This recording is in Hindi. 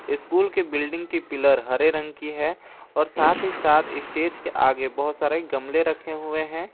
स्कूल के बिल्डिंग की पिलर हरे रंग की है और साथ ही साथ स्टेज के आगे बहुत सारे गमले रखे हुए हैं।